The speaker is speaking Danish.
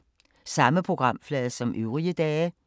Samme programflade som øvrige dage